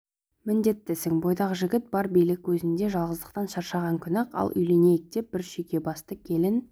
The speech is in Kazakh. міндеттісің бойдақ жігіт бар билік өзінде жалғыздықтан шаршаған күні-ақ ал үйленейін деп бір шүйкебасты келін